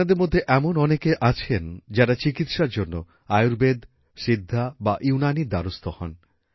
আপনাদের মধ্যে এমন অনেকে আছেন যারা চিকিৎসার জন্য আয়ুর্বেদ সিদ্ধা বা ইউনানীর দ্বারস্থ হন